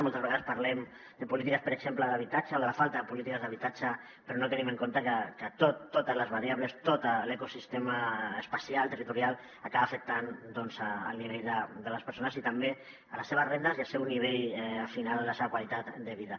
moltes vegades parlem de polítiques per exemple d’habitatge o de la falta de polítiques d’habitatge però no tenim en compte que totes les variables tot l’ecosistema espacial territorial acaba afectant doncs el nivell de les persones i també les seves rendes i al final la seva qualitat de vida